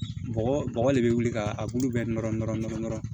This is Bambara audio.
Bɔgɔ bɔgɔ de bɛ wuli ka a bulu bɛɛ nɔrɔ nɔrɔ nɔrɔ